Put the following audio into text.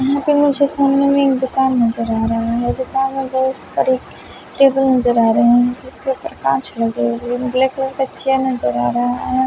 यहां पे मुझे सामने में एक दुकान नजर आ रहा है दुकान में बहोत सारी टेबल नजर आ रहा है जिसके ऊपर कांच लगे हुए हैं ब्लैक कलर का चेयर नजर आ रहा है।